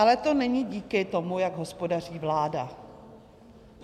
Ale to není díky tomu, jak hospodaří vláda.